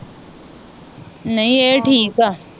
ਨਹੀਂ ਇਹ ਠੀਕ ਆ